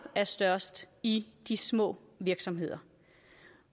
er størst i de små virksomheder